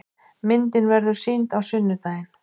Myndin verður sýnd á sunnudaginn.